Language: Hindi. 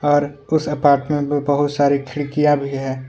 और उस अपार्टमेंट में बहुत सारे खिड़कियां भी है।